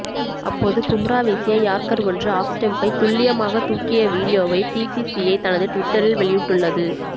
அப்போது பும்ரா வீசிய யார்க்கர் ஒன்று ஆஃப் ஸ்டெம்பை துல்லியமாக தூக்கிய வீடியோவை பிசிசிஐ தனது ட்விட்டரில் வெளியிட்டுள்ளது